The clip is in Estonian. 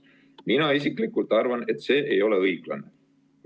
Mina isiklikult arvan, et see ei ole õiglane.